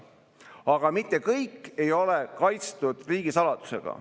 Aga mitte kõik ei ole kaitstud riigisaladusega.